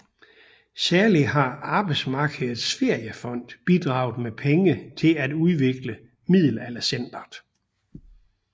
Særligt har Arbejdsmarkedets Feriefond bidraget med penge til at udvikle Middelaldercentret